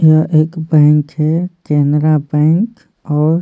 यह एक बैंक है कैनरा बैंक और--